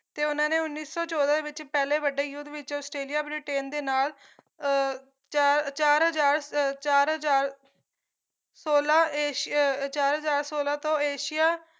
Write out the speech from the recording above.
ਤੇ ਉਹਨਾਂ ਨੇ ਉੱਨੀ ਸੋ ਚੋਦਾਂ ਵਿੱਚ ਪਹਿਲੇ ਵੱਡੇ ਯੁੱਧ ਵਿੱਚ ਆਸਟ੍ਰੇਲੀਆ ਬ੍ਰਿਟੇਨ ਦੇ ਨਾਲ ਅਹ ਚਾਰ ਚਾਰ ਹਜ਼ਾਰ ਚਾਰ ਹਜ਼ਾਰ ਸੌਲਾ ਏਸ਼ੀਆ ਚਾਰ ਹਜ਼ਾਰ ਸੌਲਾ ਤੋਂ ਏਸ਼ੀਆ